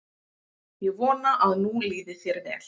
Ég vona að nú líði þér vel.